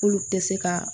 K'olu tɛ se ka